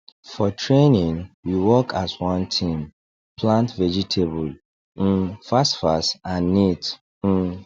for training we work as one team plant vegetable um fastfast and neat um